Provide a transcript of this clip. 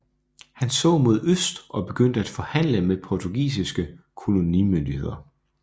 Han så mod øst og begyndte at forhandle med portugisiske kolonimyndigheder